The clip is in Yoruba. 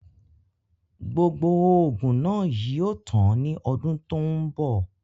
Gbogbo oògùn náà yìí ó tàn ni ọdún tòun bọ̀